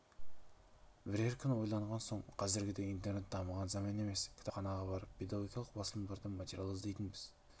бірер күн ойланған соң қазіргідей интернет дамыған заман емес кітапханаға барып педагогикалық басылымдардан материалдар іздейтінбіз